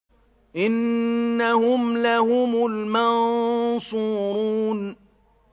إِنَّهُمْ لَهُمُ الْمَنصُورُونَ